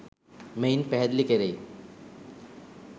මෙයින් පැහැදිලි කෙරෙයි.